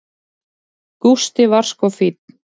Gústi var sko fínn.